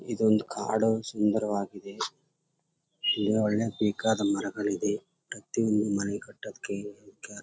ಇದು ಒಂದು ಕಾಡು ಸುಂದವರಾಗಿ ಇದೆ ಒಳ್ಳೆ ಬೇಕಾದ ಮರಗಳ ಇದೆ ಪ್ರತಿ ಒಂದು ಮನೆ ಕಟ್ಟಕೆ --.